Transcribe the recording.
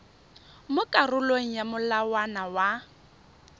mo karolong ya molawana wa